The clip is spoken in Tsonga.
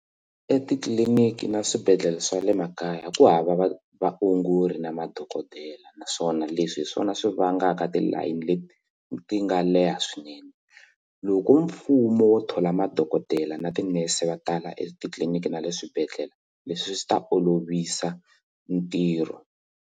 Etitliliniki na swibedhlele swa le makaya ku hava va vaongori na madokodela naswona leswi hi swona swi vangaka ti line leti ti nga leha swinene loko mfumo wo thola madokodela na tinese va tala etitliliniki na le swibedhlele leswi swi ta olovisa ntirho.